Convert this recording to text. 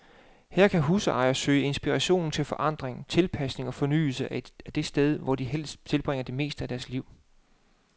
Her kan husejere søge inspiration til forandring, tilpasning og fornyelse af det sted, hvor de fleste tilbringer det meste af deres liv.